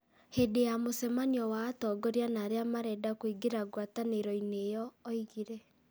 Hĩndĩ ya mũcemanio wa atongoria na arĩa marenda kũingĩra ngwatanĩro-inĩ ĩyo, oigire